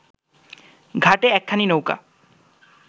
ঘাটে একখানি নৌকা